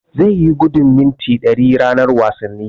Zai yi gudun mita ɗari ranar wasanni.